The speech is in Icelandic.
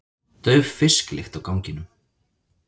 Dauf fisklykt á ganginum.